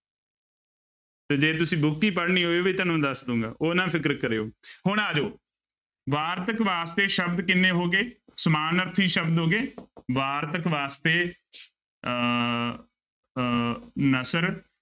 ਤੇ ਜੇ ਤੁਸੀਂ book ਹੀ ਪੜ੍ਹਨੀ ਉਹ ਵੀ ਤੁਹਾਨੂੰ ਦੱਸ ਦਊਂਗਾ ਉਹ ਨਾ ਫ਼ਿਕਰ ਕਰਿਓ ਹੁਣ ਆ ਜਾਓ, ਵਾਰਤਕ ਵਾਸਤੇ ਸ਼ਬਦ ਕਿੰਨੇ ਹੋ ਗਏ, ਸਮਾਨਾਰਥੀ ਸ਼ਬਦ ਹੋ ਗਏ ਵਾਰਤਕ ਵਾਸਤੇ ਅਹ ਅਹ ਨਸਰ